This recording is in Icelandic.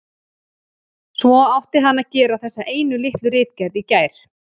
Svo átti hann að gera þessa einu litlu ritgerð í gær.